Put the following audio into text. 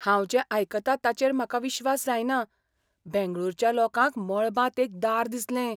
हांव जें आयकतां ताचेर म्हाका विश्वास जायना! बेंगळूरच्या लोकांक मळबांत एक दार दिसलें!